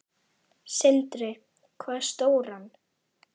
Sindri: Hvað stóran?